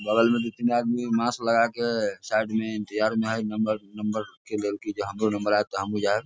बगल में दू-तीन आदमी मास्क लगा के साइड में इंतजार में है नंबर नंबर जे लेल कइय हमरो नंबर आए तो हमु जाएब।